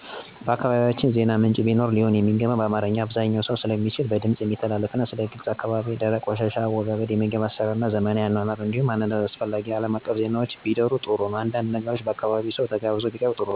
በአካባቢያቸን ዜና ምንጭ ቢኖር ሊሆን የሚገባው በአማርኛ(አብዛኛው ሰው ስለሚችል) በድምፅ የሚተላለፍና ስለ ግልና አካባቢ ንፅህና፣ የደረቅና ፈሳሽ ቆሻሻ አወጋገድ፣ የምግብ አሰራርና ስለዘመናዊ አኗኗር እንዲሁም ስለአንዳድ አስፈላጊ ሀገር አቀፍና አለም አቀፍ ዜናዎች ቢደር ጥሩ ነው። አንዳንድ ነገሮች የአካባቢው ሰው ተጋብዞ ቢያቀርብ ጥሩ ነው።